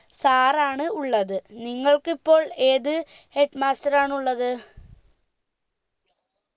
sir ആണ് ഉള്ളത് നിങ്ങൾക്കിപ്പോൾ ഏത് head master ആണുള്ളത്